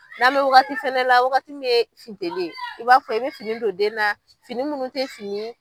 N'an mɛ wagati fɛnɛ la, wagati mi funteni i b'a fɔ, i bɛ fini don den na, fini munnu tɛ fini ye